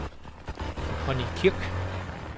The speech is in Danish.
Connie Kirk